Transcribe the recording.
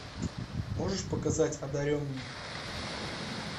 можешь показать одаренные